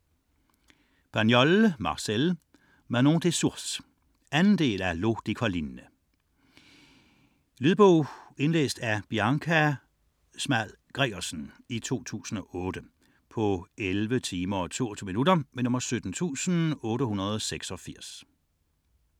82 Pagnol, Marcel: Manon des sources 2. del af L'eau des collines. Til en lille selvtilstrækkelig landsby i Provence kommer en fremmed familie. Med lune og humor fortælles om lokalbefolkningens snu og onde - og i årevis vellykkede - forsøg på at ødelægge familiens planer og om retfærdighedens sejr til sidst. Lydbog 17886 Indlæst af Bianca Small Gregersen, 2008. Spilletid: 11 timer, 22 minutter.